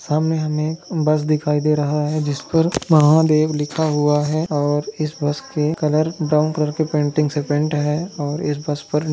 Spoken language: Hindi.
सामने हमें एक बस दिखाई दे रहा है जिस पर महादेव लिखा हुआ है और इस बस के कलर ब्राउन कलर की पेंटिंग से पेंट है और इस बस पर--